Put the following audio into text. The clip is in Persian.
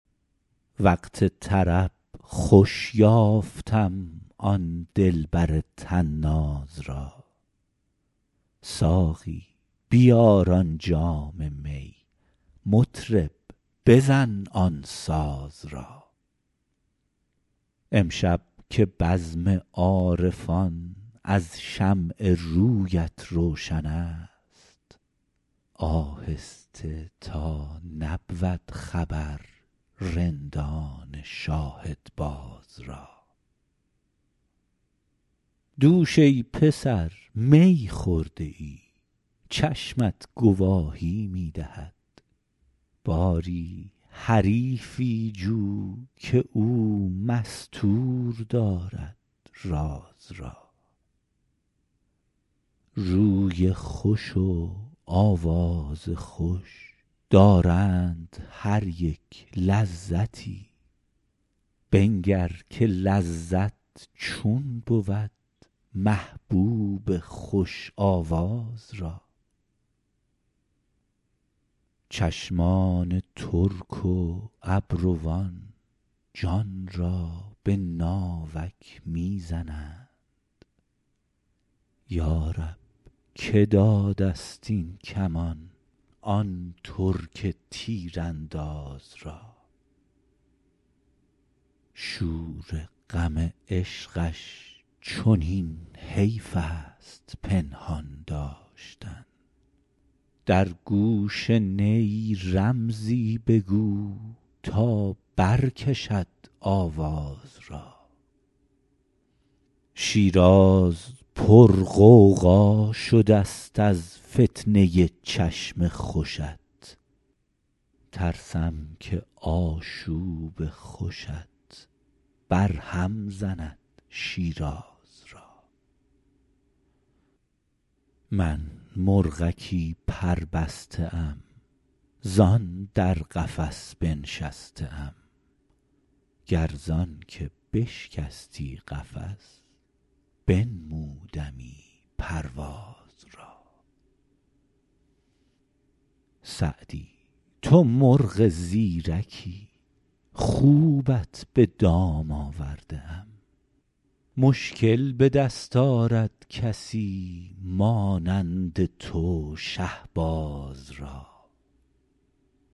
وقت طرب خوش یافتم آن دلبر طناز را ساقی بیار آن جام می مطرب بزن آن ساز را امشب که بزم عارفان از شمع رویت روشن است آهسته تا نبود خبر رندان شاهدباز را دوش ای پسر می خورده ای چشمت گواهی می دهد باری حریفی جو که او مستور دارد راز را روی خوش و آواز خوش دارند هر یک لذتی بنگر که لذت چون بود محبوب خوش آواز را چشمان ترک و ابروان جان را به ناوک می زنند یا رب که داده ست این کمان آن ترک تیرانداز را شور غم عشقش چنین حیف است پنهان داشتن در گوش نی رمزی بگو تا برکشد آواز را شیراز پرغوغا شده ست از فتنه ی چشم خوشت ترسم که آشوب خوشت برهم زند شیراز را من مرغکی پربسته ام زان در قفس بنشسته ام گر زان که بشکستی قفس بنمودمی پرواز را سعدی تو مرغ زیرکی خوبت به دام آورده ام مشکل به دست آرد کسی مانند تو شهباز را